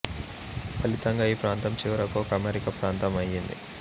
ఫలితంగా ఈ ప్రాంతం చివరకు ఒక అమెరికా ప్రాంతం అయింది